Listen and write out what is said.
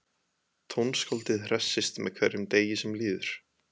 Tónskáldið hressist með hverjum degi sem líður.